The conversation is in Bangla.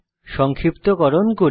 সংক্ষিপ্তকরণ করি